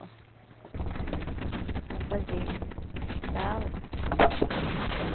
Para fazer as tala.